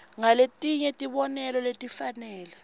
ngaletinye tibonelo letifanele